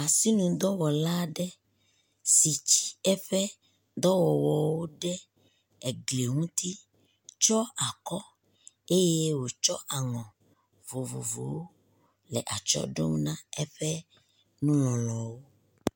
Asinudɔwɔla aɖe si tsi eƒe dɔwɔwɔwo ɖe egli ŋuti tsyɔ akɔ eye wòtsɔ aŋɔ vovovowo le atsyɔ ɖom na eƒe nulɔlɔwo.